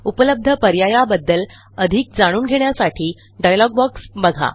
उपलब्ध पर्यायाबद्दल अधिक जाणून घेण्यासाठी डायलॉग बॉक्स बघा